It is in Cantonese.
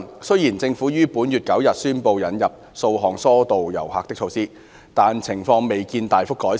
雖然政府於本月9日宣布引入數項疏導遊客的措施，但情況未見大幅改善。